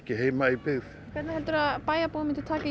heima í byggð hvernig heldurðu að bæjarbúar myndu taka í